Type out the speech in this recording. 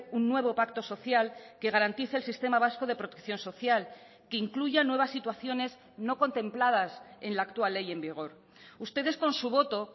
un nuevo pacto social que garantice el sistema vasco de protección social que incluyan nuevas situaciones no contempladas en la actual ley en vigor ustedes con su voto